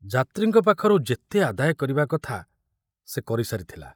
ଯାତ୍ରୀଙ୍କ ପାଖରୁ ଯେତେ ଆଦାୟ କରିବା କଥା ସେ କରି ସାରିଥିଲା।